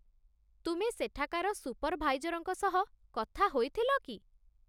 ତୁମେ ସେଠାକାର ସୁପରଭାଇଜରଙ୍କ ସହ କଥା ହୋଇଥିଲ କି?